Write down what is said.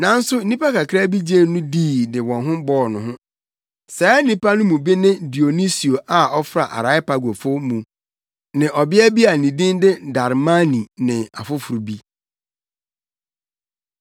Nanso, nnipa kakraa bi gyee no dii de wɔn ho bɔɔ no. Saa nnipa no mu bi ne Dionisio a ɔfra Areopagofo mu ne ɔbea bi a ne din de Damari ne afoforo bi.